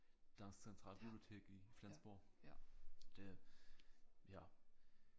Dansk centralbibliotek i Flensborg det ja